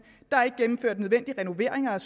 er